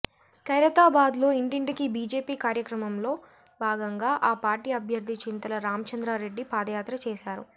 ఖైరతాబాద్ లో ఇంటింటికి బిజెపి కార్యక్రమంలో భాగంగా ఆ పార్టీ అభ్యర్ధి చింతల రామచంద్రారెడ్డి పాదయాత్ర చేసారు